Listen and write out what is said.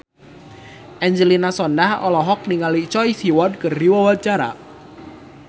Angelina Sondakh olohok ningali Choi Siwon keur diwawancara